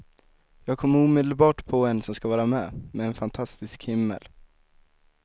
Jag kommer omedelbart på en som ska vara med, med en fantastisk himmel.